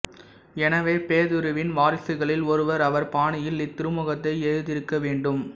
எனவே பேதுருவின் வாரிசுகளில் ஒருவர் அவர் பாணியில் இத்திருமுகத்தை எழுதியிருக்க வேண்டும்